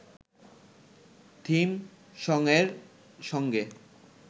theme সংয়ের সঙ্গে